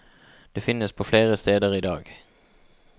Det finnes på flere steder i dag.